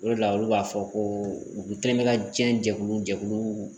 O de la olu b'a fɔ ko u kɛlen bɛ ka diɲɛ jɛkulu jɛkulu